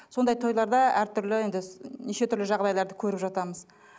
сондай тойларда әртүрлі енді неше түрлі жағдайларды көріп жатамыз